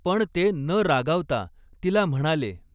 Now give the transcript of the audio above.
पण ते न रागावता तिला म्हणाले.